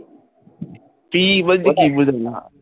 কি বলছ ঠিক বুঝলাম না